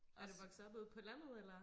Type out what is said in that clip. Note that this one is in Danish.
er du vokset op ude på landet eller